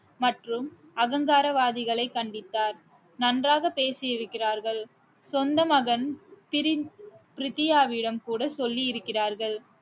மற்றும் அகங்காரவாதிகளை கண்டித்தார் நன்றாக பேசியிருக்கிறார்கள் சொந்த மகன் பிர~ பிரதியாவிடம் கூட சொல்லி இருக்கிறார்கள்